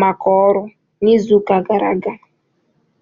maka ọrụ n'izu gara aga